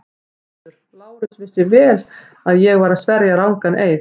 GVENDUR: Lárus vissi vel að ég var að sverja rangan eið.